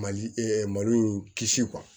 Mali malo in kisi